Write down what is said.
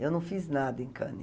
Eu não fiz nada em Cannes.